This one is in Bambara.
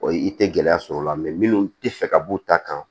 Ɔ i tɛ gɛlɛya sɔrɔ o la minnu tɛ fɛ ka b'u ta kan